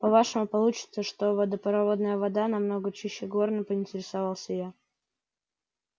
по-вашему получится что водопроводная вода намного чище горной поинтересовалась я